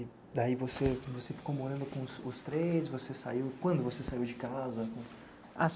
E daí você ficou morando com os três, você saiu, quando você saiu de casa?